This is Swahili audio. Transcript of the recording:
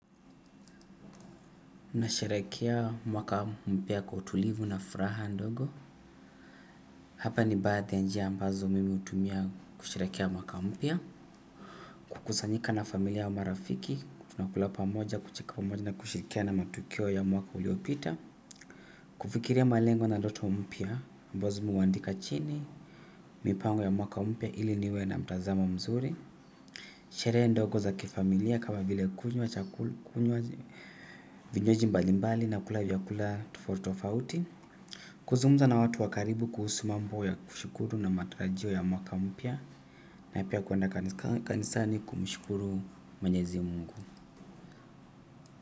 Na sherekea mwaka mpya kwa utulivu na furaha ndogo. Hapa ni baadhi ya njia ambazo mimi hutumia kusherekea mwaka mpya. Kukusanyika na familia au marafiki. Tunakula pamoja kucheka pamoja na kushirikiana matukio ya mwaka uliopita. Kufikiria malengo na ndoto mpya ambazo mimi huandika chini. Mipango ya mwaka mpya ili niwe na mtazamo mzuri. Sherehe ndogo za kifamilia kama vile kunywa chakul, kunywa vienyeji mbali mbali na kula vyakula tofauti tofauti. Kuzungumza na watu wa karibu kuhusu mambo ya kushukuru na matarajio ya mwaka mpya. Na pia kwenda kanisani kumshukuru mwenyezi mungu.